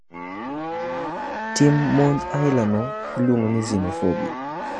Tim monj aila no iluongo ni xenophobia.